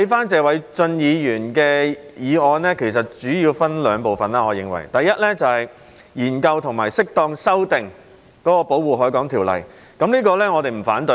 謝偉俊議員的議案主要分為兩部分，第一部分是研究及適當修訂《保護海港條例》，我們對此並不反對。